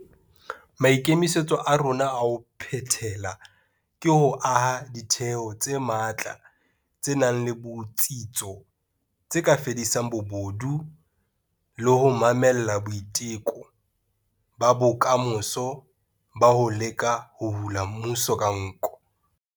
Maikemisetso a rona a ho phethela ke ho aha ditheo tse matla tse nang le botsitso tse ka fedisang bobodu le ho mamella boiteko ba kamoso ba ho leka ho hula mmuso ka nko.